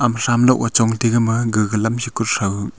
ama tham loh ga chong tega gama gaga lam se katho--